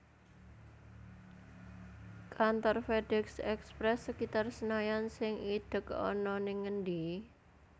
Kantor FedEx Express sekitar Senayan sing idhek ana ning endi?